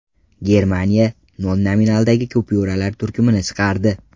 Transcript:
Germaniya nol nominaldagi kupyuralar turkumini chiqardi.